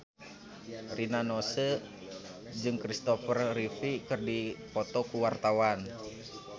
Rina Nose jeung Kristopher Reeve keur dipoto ku wartawan